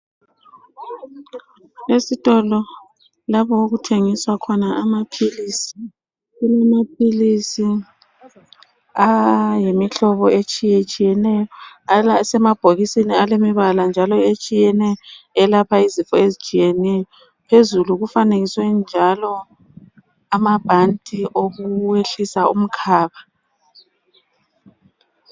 Esitolo lapho okuthengiswa khona amaphilisi. Kulamaphilisi ayimihlobo etshiyetshiyeneyo, asemabhokisini elemibala njalo etshiyeneyo, elapha izifo ezitshiyeneyo. Phezulu kufanekiswe njalo amabhanti okwehlisa umkhaba.